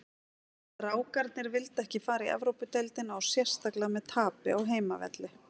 Strákarnir vildu ekki fara í Evrópudeildina og sérstaklega með tapi á heimavelli.